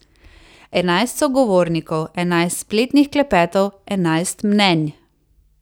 Enajst sogovornikov, enajst spletnih klepetov, enajst mnenj.